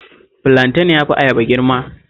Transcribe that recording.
Filanten ya fi ayaba girma